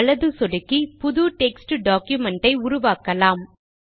வலது சொடுக்கி புது டெக்ஸ்ட் டாக்குமென்ட் ஐ உருவாக்கலாம்